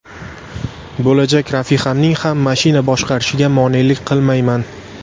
Bo‘lajak rafiqamning ham mashina boshqarishiga monelik qilmayman.